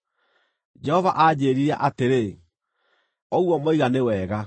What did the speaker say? Jehova aanjĩĩrire atĩrĩ: “Ũguo moiga nĩ wega.